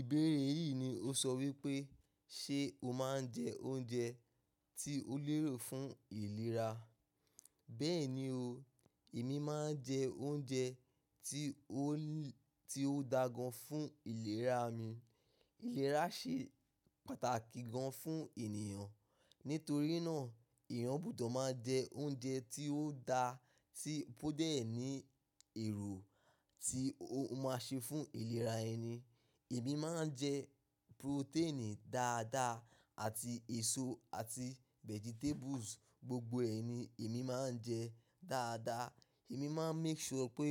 Ìbéèrè yìí ni ó sọ wípé ṣe o máa ń jẹ oúnjẹ tí ó lérò fún ìlera? Bẹ́ẹ̀ni o, èmi máa ń jẹ oúnjẹ tí ó ti ó dáa gan fún ìlera mi. Ìlera ṣe pàtàkì gan fún ènìyàn. Nítorí náà èèyàn gbudọ̀ máa jẹ oúnjẹ tí ó dáa tí ó dẹ̀ ní èrò tí ó máa ṣe fún ìlera ẹni. Èmi máa ń jẹ protein dáadáa àti èso àti vegetables gbogbo ẹni èmi máa ń jẹ dáadáa. Èmi máa ń make sure pé